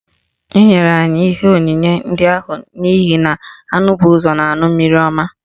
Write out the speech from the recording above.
Enyere anyị ihe onyinye ndị ahụ n'ihi na anụ bụ ụzọ na-aṅụ mmiri ọma